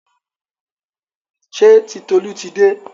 Ṣé Titolú ti dé?